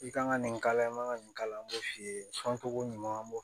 I kan ka nin k'a la i man ka nin k'a la an b'o f'i ye cogo ɲuman an b'o